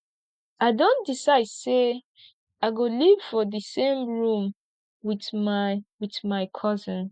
i don decide sey i go live for dis same room wit my wit my cousin